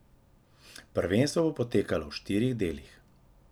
Prvenstvo bo potekalo v štirih delih.